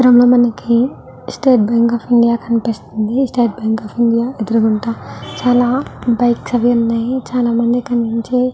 ఈ చిత్రం లో మనకి స్టేట్ బ్యాంక్ ఆఫ్ ఇండియా కనిపిస్తుంది. స్టేట్ బ్యాంక్ ఆఫ్ ఇండియా చాలా బైక్స్ అవి ఉన్నాయి. చాలామంది కనిపించి--